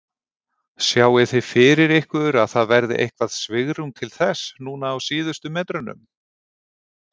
Sjáið þið fyrir ykkur að það verði eitthvað svigrúm til þess núna á síðustu metrunum?